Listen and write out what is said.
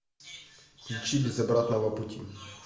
включи без обратного пути